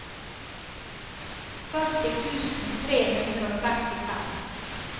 førti tusen tre hundre og trettifem